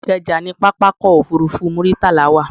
Ìkẹjà ni pápákọ̀ òfurufú Muritala wà